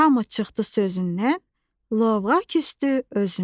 Hamı çıxdı sözündən, lovğa küsdü özündən.